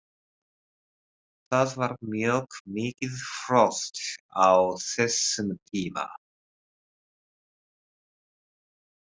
Það var mjög mikið frost á þessum tíma.